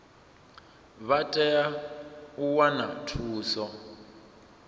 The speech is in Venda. vha tea u wana thuso